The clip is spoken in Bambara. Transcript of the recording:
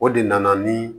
O de nana ni